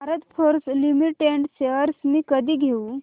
Bharat Forge Limited shares मी कधी घेऊ